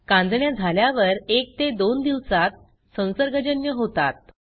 कांजिण्या झाल्यावर 1 ते 2 दिवसात संसर्गजन्य होतात